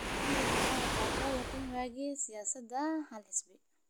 Xilligii Moi waxa loo yiqiin waagii siyaasadda hal xisbi.